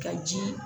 Ka ji